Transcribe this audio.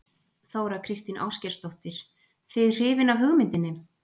Þóra Kristín Ásgeirsdóttir:. þið hrifin af hugmyndinni?